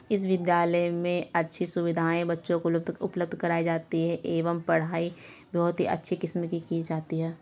इस विद्यालय मे अच्छी सुविधाये बच्चों को उपलब्ध कराई जाती है एवं पढाई बहुत ही अच्छी किस्म की कि जाती है।